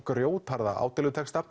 grjótharða